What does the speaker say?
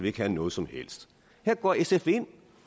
ikke har noget som helst her går sf ind